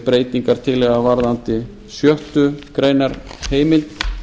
breytingartillaga varðandi sjöttu greinar heimild